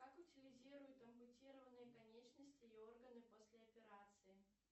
как утилизируют ампутированные конечности и органы после операции